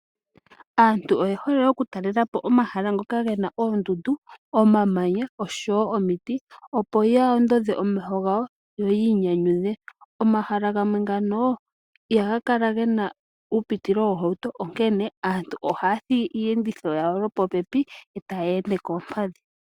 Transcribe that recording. Aantu oye hole okutalela po omahala ngoka gena oondundu, omamanya oshowo omiti, opo ya ondodhe omeho gawo yo yi inyanyudhe. Omahala gamwe ngano ihaga kala gena uupitilo woohauto onkene aantu ohaya thigi iiyenditho yawo lwopopepi etaya ende koompadhi.